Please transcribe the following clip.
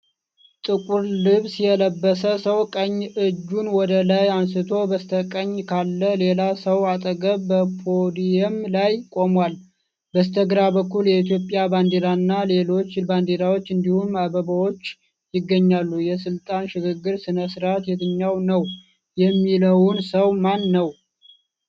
ጥቁር ልብስ የለበሰ ሰው ቀኝ እጁን ወደ ላይ አንስቶ በስተቀኝ ካለ ሌላ ሰው አጠገብ በፖዲየም ላይ ቆሟል። በስተግራ በኩል የኢትዮጵያ ባንዲራና ሌሎች ባንዲራዎች እንዲሁም አበባዎች ይገኛሉ። የስልጣን ሽግግር ሥነ-ሥርዓት የትኛው ነው? የሚምለው ሰው ማን ነው?